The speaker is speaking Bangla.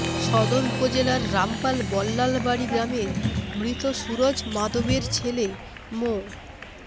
সদর উপজেলার রামপাল বল্লালবাড়ি গ্রামের মৃত সুরুজ মাদবরের ছেলে মো